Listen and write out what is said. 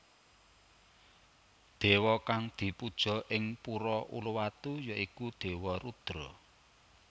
Dewa kang dipuja ing Pura Uluwatu ya iku Dewa Rudra